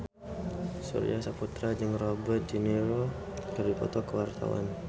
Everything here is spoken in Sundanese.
Surya Saputra jeung Robert de Niro keur dipoto ku wartawan